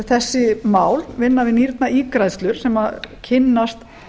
þessi mál vinna við nýrnaígræðslur sem kynnast